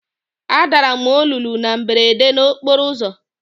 Adara m ololo na mberede n'okporo ụzọ.